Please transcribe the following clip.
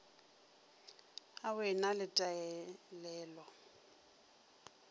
au e na le taelelo